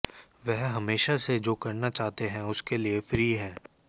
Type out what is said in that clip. वह हमेशा से जो करना चाहते हैं उसके लिए फ्री हैं